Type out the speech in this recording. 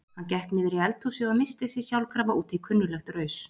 Hann gekk niður í eldhúsið og missti sig sjálfkrafa út í kunnuglegt raus.